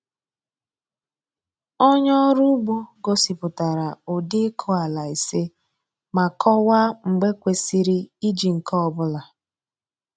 Onye ọrụ ugbo gosipụtara ụdị ịkụ ala ise ma kọwaa mgbe kwesịrị iji nke ọ bụla.